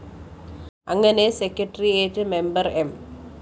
അങ്ങനെ secretariat member M